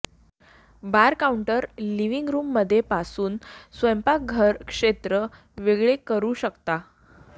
बार counter living रूममध्ये पासून स्वयंपाकघर क्षेत्र वेगळे करू शकता